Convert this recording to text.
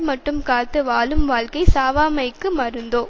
மட்டும் காத்து வாழும் வாழ்க்கை சாவாமைக்கு மருந்தோ